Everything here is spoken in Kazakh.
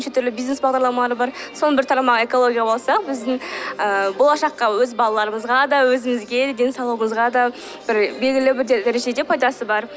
неше түрлі бизнес бағдарламалар бар соның бір тармағы экология болса біздің ыыы болашаққа өз балаларымызға да өзімізге де денсаулығымызға да бір белгілі бір дәрежеде пайдасы бар